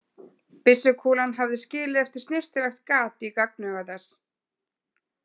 Byssukúlan hafði skilið eftir snyrtilegt gat í gagnauga þess.